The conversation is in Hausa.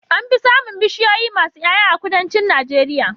Anfi samin bishiyoyi masu Y'ay'a a kudancin najeria